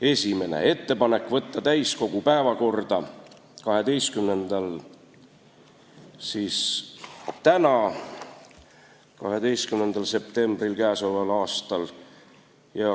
Esiteks, teha ettepanek võtta eelnõu täiskogu 12. septembri istungi päevakorda.